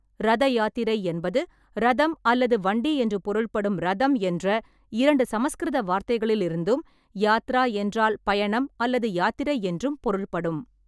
ரத யாத்திரை என்பது ரதம் அல்லது வண்டி என்று பொருள்படும் ரதம் என்ற இரண்டு சமஸ்கிருத வார்த்தைகளிலிருந்தும், யாத்ரா என்றால் பயணம் அல்லது யாத்திரை என்றும் பொருள்படும்.